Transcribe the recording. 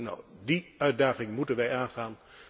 Nu, die uitdaging moeten wij aangaan.